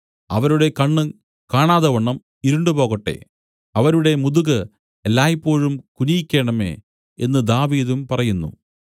അവരുടെ കണ്ണ് കാണാതവണ്ണം ഇരുണ്ടുപോകട്ടെ അവരുടെ മുതുകു എല്ലായ്പോഴും കുനിയിക്കേണമേ എന്നു ദാവീദും പറയുന്നു